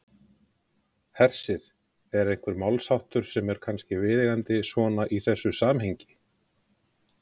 Hersir: Er einhver málsháttur sem er kannski viðeigandi svona í þessu samhengi?